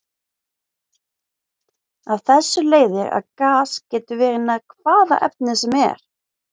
Af þessu leiðir að gas getur verið nær hvaða efni sem er.